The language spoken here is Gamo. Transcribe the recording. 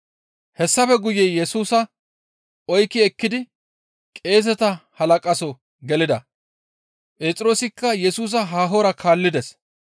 Hessafe guye Yesusa oykki ekkidi qeeseta halaqaso gelida; Phexroosikka Yesusa haahora kaallides.